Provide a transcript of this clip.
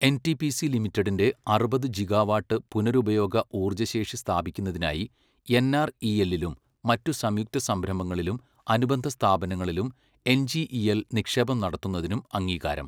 NTPC ലിമിറ്റഡിന്റെ അറുപത് gigawatt പുനരുപയോഗ ഊർജശേഷി സ്ഥാപിക്കുന്നതിനായി എൻആർഇഎല്ലിലും മറ്റു സംയുക്തസംരംഭങ്ങളിലും അനുബന്ധസ്ഥാപനങ്ങളിലും എൻജിഇഎൽ നിക്ഷേപം നടത്തുന്നതിനും അംഗീകാരം.